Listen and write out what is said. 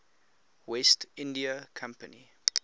west india company